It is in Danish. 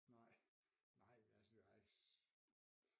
Nej altså altså